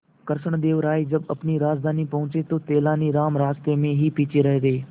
कृष्णदेव राय जब अपनी राजधानी पहुंचे तो तेलानीराम रास्ते में ही पीछे रह गए